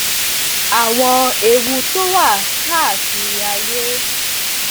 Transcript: àwọn ewu tó wà káàkiri ayé